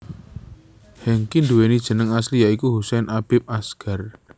Hengky nduwéni jeneng asli ya iku Husain Habib Asgar